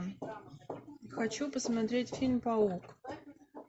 хочу посмотреть фильм паук